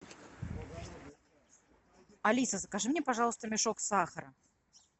алиса закажи мне пожалуйста мешок сахара